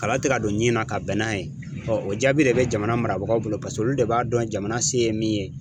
Kala tɛ ka don ɲɛɲini na ka bɛn n'a ye, ɔ o jaabi de bɛ jamana marabagaw bolo ,paseke olu de b'a dɔn jamana se ye min ye.